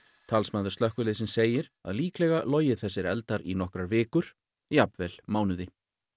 talsmaður slökkviliðsins segir að líklega logi þessir eldar í nokkrar vikur jafnvel mánuði